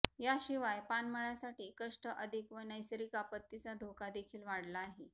याशिवाय पानमळ्यासाठी कष्ट अधिक व नैसर्गिक आपत्तीचा धोका देखील वाढला आहे